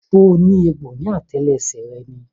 So ní egbò ní àtẹlẹsẹ̀ rẹ ni?